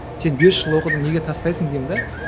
сен бес жыл оқыдың неге тастайсың деймін де